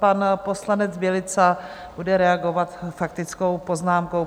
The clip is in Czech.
Pan poslanec Bělica bude reagovat faktickou poznámkou.